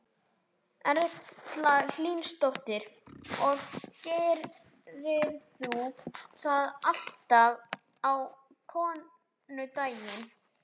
Erla Hlynsdóttir: Og gerirðu það alltaf á konudaginn?